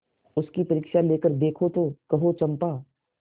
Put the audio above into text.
उसकी परीक्षा लेकर देखो तो कहो चंपा